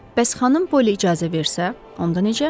Bəs xanım Poli icazə versə, onda necə?